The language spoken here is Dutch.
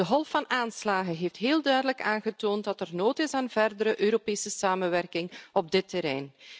De golf van aanslagen heeft heel duidelijk aangetoond dat er behoefte is aan verdere Europese samenwerking op dit terrein.